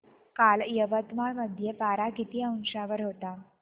काल यवतमाळ मध्ये पारा किती अंशावर होता